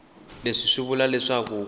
leswi swi vula leswaku ku